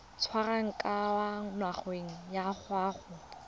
tswang kwa ngakeng ya gago